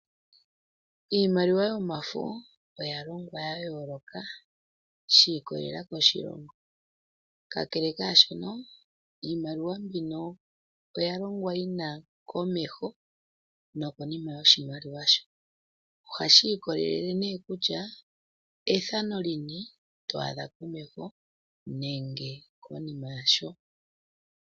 Iimaliwa yomafo oyalongwa yayooloka, shikololela koshilongo, kakele kwaashino iimaliwa mbika oyalongwa yina komeho nokonima yoshimaliwa. Ohashi ikololele kutya komeho yoshimaliwa otwaadhamo ethano lili ngiini, nosho woo konima yasho kutya otwaadhako ethano lili ngiini.